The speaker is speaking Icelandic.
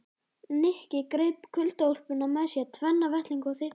Nikki greip kuldaúlpuna með sér, tvenna vettlinga og þykka húfu.